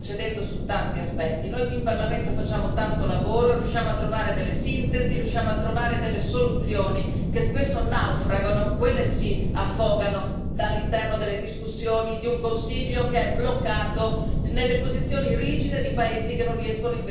Noi qui in Parlamento facciamo tanto lavoro e riusciamo a trovare delle sintesi, riusciamo a trovare delle soluzioni che spesso naufragano, quelle sì affogano, all'interno delle discussioni di un Consiglio che è bloccato nelle posizioni rigide di paesi che non riescono invece a trovare altrettanto una sintesi.